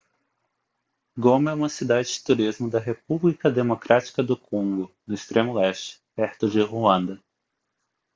goma é uma cidade de turismo da república democrática do congo no extremo leste perto de ruanda